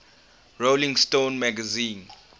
rolling stone magazine